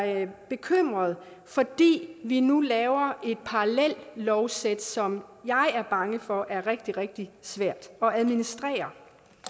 bekymret fordi vi nu laver et parallelt lovsæt som jeg er bange for er rigtig rigtig svært at administrere